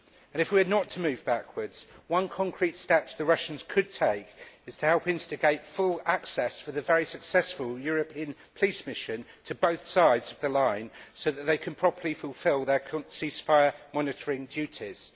If we are not to move backwards, one concrete step the Russians could take is to help instigate full access for the very successful European police mission to both sides of the line so that they can properly fulfil their ceasefire monitoring duties.